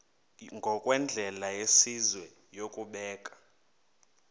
ngokwendlela yesizwe yokubeka